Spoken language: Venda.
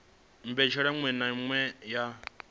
mbetshelwa iṅwe na iṅwe ya